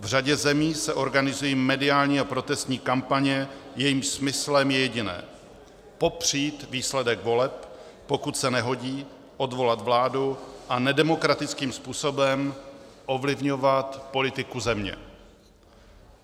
V řadě zemí se organizují mediální a protestní kampaně, jejichž smyslem je jediné: popřít výsledek voleb, pokud se nehodí, odvolat vládu a nedemokratickým způsobem ovlivňovat politiku země.